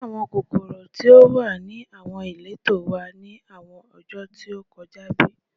Njẹ awọn kokoro ti o wa ni awọn ileto wa ni awọn ọjọ ti o kọja bi?